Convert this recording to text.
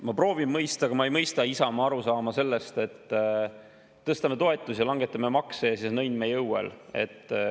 Ma proovin mõista, aga ma ei mõista Isamaa arusaama sellest, et tõstame toetusi ja langetame makse ja siis on õnn meie õuel.